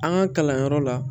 An ka kalanyɔrɔ la